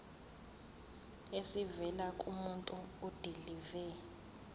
esivela kumuntu odilive